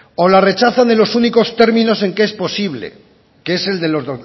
o la rechazan con los únicos términos en que es posible que es el de